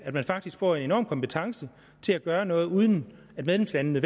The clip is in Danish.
at man faktisk får en enorm kompetence til at gøre noget uden at medlemslandene